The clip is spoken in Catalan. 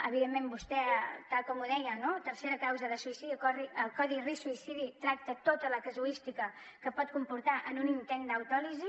evidentment vostè tal com ho deia no tercera causa el suïcidi el codi risc suïcidi tracta tota la casuística que pot comportar un intent d’autòlisi